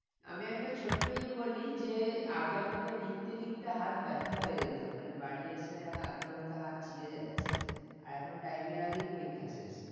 আমি একটা ছোট্ট ইয়ে বলি যে আগে আমাদের লিখতে লিখতে হাত ব্যাথা হয়ে যেত মানে বাড়ি এসে মনে হতো হাত ছিড়ে যাচ্ছে আর এখন time এর আগেই পরীক্ষা শেষ